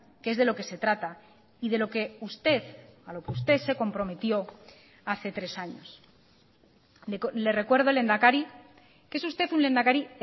que es de lo que se trata y de lo que usted a lo que usted se comprometió hace tres años le recuerdo lehendakari que es usted un lehendakari